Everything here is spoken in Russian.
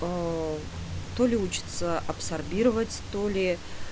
аа то ли учится абсорбировать то ли